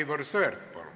Aivar Sõerd, palun!